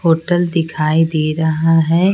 Hotel दिखाई दे रहा है।